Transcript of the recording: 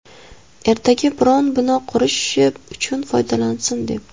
Ertaga biror bino qurishi uchun foydalansin, deb.